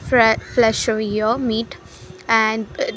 Fre flesher year meet and --